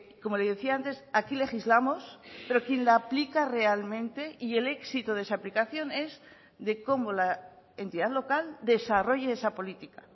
como le decía antes aquí legislamos pero quien la aplica realmente y el éxito de esa aplicación es de cómo la entidad local desarrolle esa política